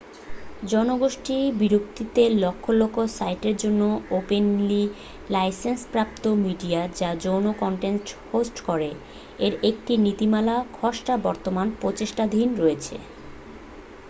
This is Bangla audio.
জনগোষ্ঠীর বিরক্তিতে লক্ষ লক্ষ সাইটের জন্য ওপেনলি-লাইসেন্সপ্রাপ্ত মিডিয়া যা যৌন কন্টেন্ট হোস্ট করে এর একটি নীতিমালার খসড়া বর্তমানে প্রচেষ্টাধীন রয়েছে